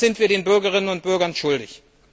Das sind wir den Bürgerinnen und Bürgern schuldig.